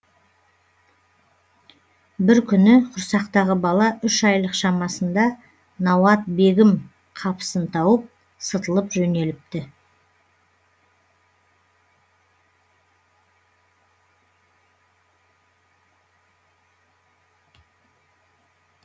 бір күні құрсақтағы бала үш айлық шамасында науат бегім қапысын тауып сытылып жөнеліпті